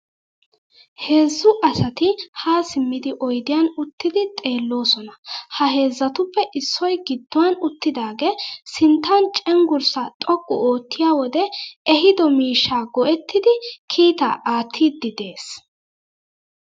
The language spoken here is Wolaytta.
Heezzu asati haa simmidi oyidiyan uttidi xeelloosona.ha heezzatuppe issoy gidduwan uttidaagaa sinttan cenggurssaa xoqqu oottiya wodee ehido miishshaa go'ettidi keettaa aattiiddi des.